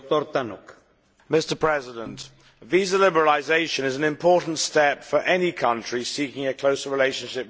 Mr President, visa liberalisation is an important step for any country seeking a closer relationship with the European Union.